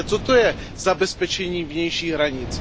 Ale co to je zabezpečení vnějších hranic?